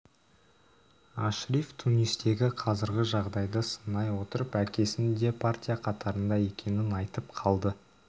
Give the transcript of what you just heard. ашриф тунистегі қазіргі жағдайды сынай отырып әкесінің де партия қатарында екенін айтып қалды